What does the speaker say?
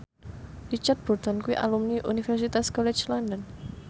Richard Burton kuwi alumni Universitas College London